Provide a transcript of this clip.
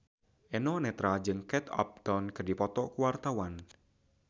Eno Netral jeung Kate Upton keur dipoto ku wartawan